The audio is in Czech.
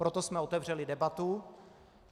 Proto jsme otevřeli debatu.